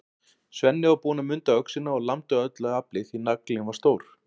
Svenni var búinn að munda öxina og lamdi af öllu afli, því naglinn var stór.